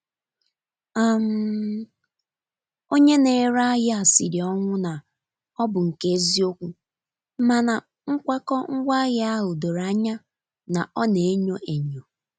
um Onye na-ere ahịa siri ọnwụ na ọ bụ nke eziokwu, mana nkwakọ ngwaahịa ahụ doro anya na ọ na-enyo enyo.